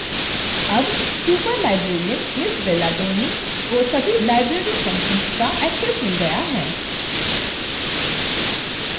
अब superlibrarian ms bella tony को सभी library functions का एक्सेस मिल गया है